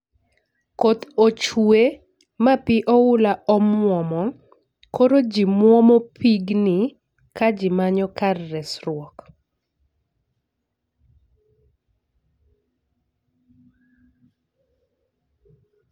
Koth ochwe ma pii oula omuomo koro jii muomo pigni ka jii manyo kar resruok